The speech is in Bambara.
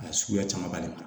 A suguya camanba de b'a la